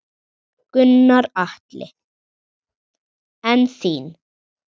Gunnar Atli: En þín?